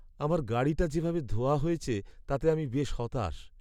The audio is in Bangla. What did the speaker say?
আমার গাড়িটা যেভাবে ধোয়া হয়েছে তাতে আমি বেশ হতাশ।